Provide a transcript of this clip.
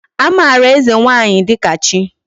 Amara eze nwanyi dika chi